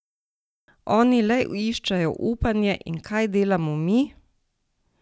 Oni le iščejo upanje in kaj delamo mi?